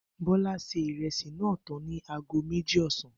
Bó̩lá se ìre̩sì náà tán ní aago méjì ò̩sán